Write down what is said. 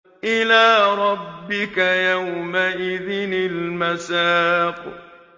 إِلَىٰ رَبِّكَ يَوْمَئِذٍ الْمَسَاقُ